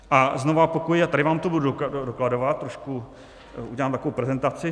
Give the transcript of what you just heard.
A znova opakuji, a tady vám to budu dokladovat, trošku udělám takovou prezentaci.